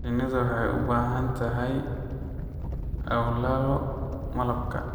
Shinnidu waxay u baahan tahay awlallo malabka.